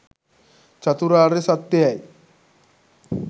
චතුරාර්ය සත්‍යයයි.